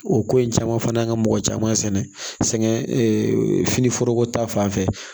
O ko in caman fana y'an ka mɔgɔ caman sɛnɛ fini foroko ta fanfɛ